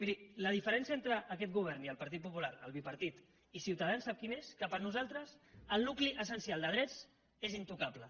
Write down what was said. miri la diferència entre aquest govern i el partit popular el bipartit i ciutadans sap quina és que per nosaltres el nucli essencial de drets és intocable